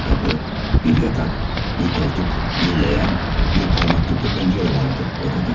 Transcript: Bir kapı, bir yatak, bir koltuk, bir leğen, bir parmaklıklı pencere vardı odada.